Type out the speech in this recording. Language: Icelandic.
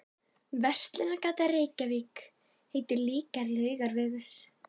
Verslunargatan í Reykjavík heitir líka Laugavegur.